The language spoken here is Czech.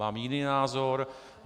Mám jiný názor.